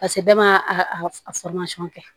Paseke bɛɛ ma a kɛ